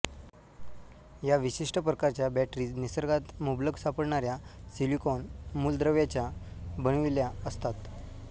या विशिष्ट प्रकारच्या बॅटरीज निसर्गात मुबलक सापडणाऱ्या सिलिकॉन मूलद्रव्याच्या बनविल्या असतात